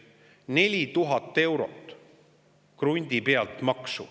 4000 eurot maksu krundi pealt.